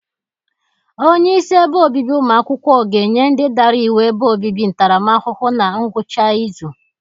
Onyeisi ebe obibi ụmụ akwụkwọ ga-enye ndị dara iwu ebe obibi ntaramahụhụ na ngwụcha ịzụ.